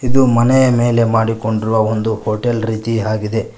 ಇದು ಮನೆಯ ಮೇಲೆ ಮಾಡಿಕೊಂಡಿರುವ ಒಂದು ಹೋಟೆಲ್ ರೀತಿ ಆಗಿದೆ.